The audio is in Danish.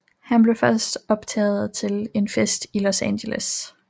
Han blev først opdaget til en fest i Los Angeles